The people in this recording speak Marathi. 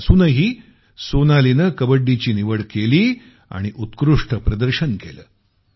अस असूनही सोनालीनं कबड्डीची निवड केली आणि उत्कृष्ट प्रदर्शन केलं